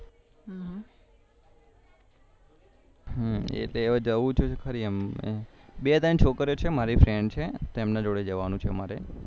એટલે હવે જવું છે ખરી એમ બે ત્રણ છોકરીઓ છે મારી FRIEND છે તેમના જોડે જવાનું છે મારે